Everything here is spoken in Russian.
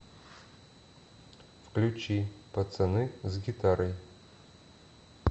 включи пацаны с гитарой